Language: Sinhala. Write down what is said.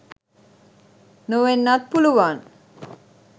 නොවෙන්නත් පුළුවන්.